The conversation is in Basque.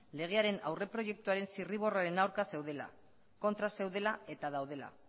legearen aurreproiektuaren zirriborroen aurka zeudela kontra zeudela eta daudela